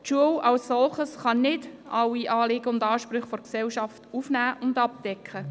Die Schule als solche kann nicht alle Anliegen und Ansprüche der Gesellschaft aufnehmen und abdecken.